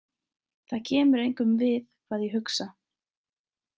Það kemur engum við hvað ég hugsa.